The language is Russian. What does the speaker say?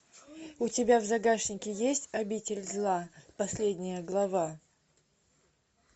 у тебя в загашнике есть обитель зла последняя глава